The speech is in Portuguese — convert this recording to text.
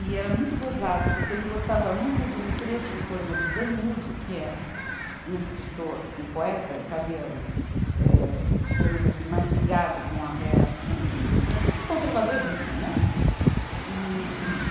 E era muito gozado, porque ele gostava muito de um trecho do poema do Danuzio, que é um escritor, um poeta italiano, eh, digamos assim, mais ligado com a rea, com, com o conservadorismo, né, e, e.